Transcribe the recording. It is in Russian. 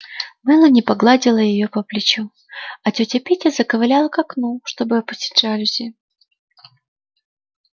мелани погладила её по плечу а тётя питти заковыляла к окну чтобы опустить жалюзи